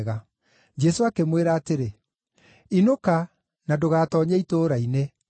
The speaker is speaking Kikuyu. Jesũ akĩmwĩra atĩrĩ, “Inũka, na ndũgatoonye itũũra-inĩ.”